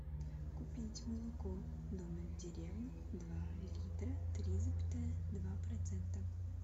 купить молоко домик в деревне два литра три запятая два процента